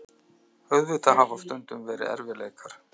Auðvitað hafa stundum verið erfiðleikar.